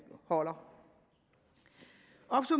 holder